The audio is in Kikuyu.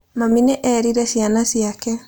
Mami nĩ eerire ciana ciake.